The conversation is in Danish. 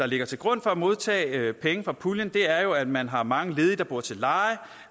ligger til grund for at modtage penge fra puljen er jo at man har mange ledige der bor til leje og